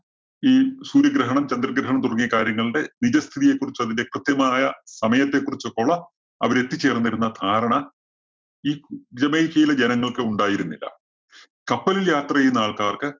ഈ സൂര്യഗ്രഹണം, ചന്ദ്രഗ്രഹണം തുടങ്ങിയ കാര്യങ്ങളുടെ നിജസ്ഥിതിയെ കുറിച്ചും, അതിന്റെ കൃത്യമായ സമയത്തെ കുറിച്ചൊക്കെയുള്ള അവര് എത്തിച്ചേര്‍ന്നിരുന്ന ധാരണ ഈ ജമൈക്കയിലെ ജനങ്ങള്‍ക്ക് ഉണ്ടായിരുന്നില്ല. കപ്പലില്‍ യാത്ര ചെയ്യുന്ന ആള്‍ക്കാര്‍ക്ക്